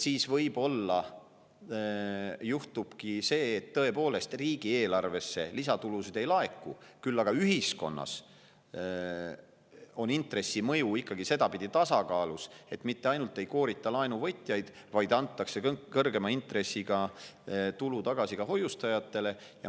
Võib-olla juhtubki tõepoolest see, et riigieelarvesse lisatulusid ei laeku, küll aga on ühiskonnas intressi mõju ikkagi sedapidi tasakaalus, et mitte ainult ei koorita laenuvõtjaid, vaid kõrgema intressiga antakse tulu tagasi hoiustajatele.